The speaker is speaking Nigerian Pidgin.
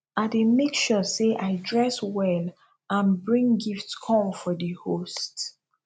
i dey make sure say i dress well and and bring gift come for di host